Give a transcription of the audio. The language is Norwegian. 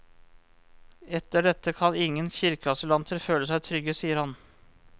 Etter dette kan ingen kirkeasylanter føle seg trygge, sier han.